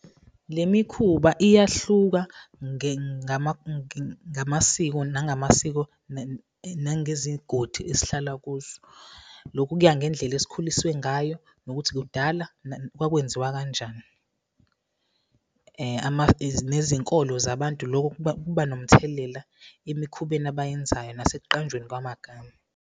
Le mikhuba iyahluka ngamasiko nangezigodi esihlala kuzo. Lokhu kuya ngendlela esikhuliswe ngayo nokuthi kudala kwakwenziwa kanjani nezinkolo zabantu. Loko nomthelela emikhubeni abayenzayo nasekuqanjweni kwamagama.